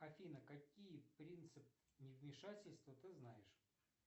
афина какие принципы невмешательства ты знаешь